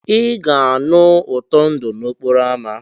Ị ga-anụ ụtọ ndụ n'okporo ámá.